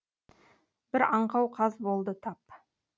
бір аңқау қаз болды тап